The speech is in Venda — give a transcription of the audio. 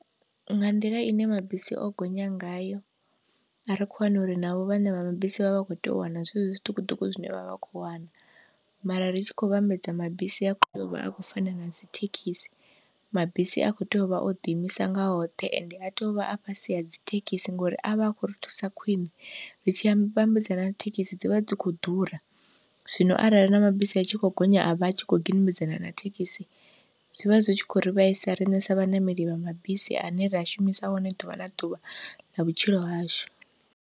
Nga nḓila ine mabisi o gonya ngayo, a ri kho hana uri navho vhaṋe vha mabisi vha vha vha kho tea u wana zwezwo zwiṱukuṱuku zwine vhavha vha kho wana, mara ri tshi khou vhambedza mabisi a kho yovha a kho fana nadzi thekhisi mabisi a kho tea uvha oḓi imisa nga oṱhe ende a tea uvha a fhasi hadzi thekhisi, ngori avha akho ri thusa khwiṋe ri tshi a vhambedza na thekhisi dzivha dzi kho ḓura. Zwino arali na mabisi a tshi kho gonya a vha a tshi kho gidimedzana na thekhisi, zwivha zwi tshi khou ri vhaisa riṋe sa vhaṋameli vha mabisi ane ra shumisa one ḓuvha na ḓuvha ḽa vhutshilo hashu.